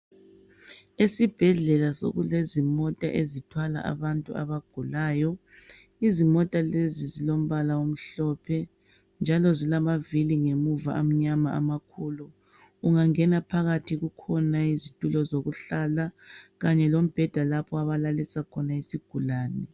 Esibhedlela sokulezimota ezithwala abantu abagulayo, izimota lezi zilombala omhlophe njalo zilamavili ngemuva amnyama amakhulu. Ungangena phakathi kukhona izitulo zokuhlala kanye lombheda lapho abalalisa khona isigulane.